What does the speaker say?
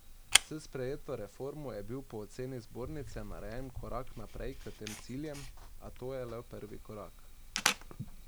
S sprejeto reformo je bil po oceni zbornice narejen korak naprej k tem ciljem, a je to le prvi korak.